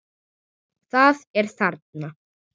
Það er þarna!